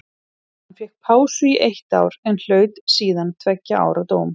Hann fékk pásu í eitt ár en hlaut síðan tveggja ára dóm.